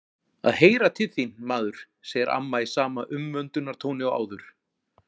Að heyra til þín, maður, segir amma í sama umvöndunartóni og áður.